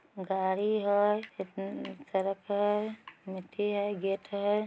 गाड़ी है अ अ सड़क है मिट्टी है गेट है।